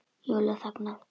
Júlía þagnar.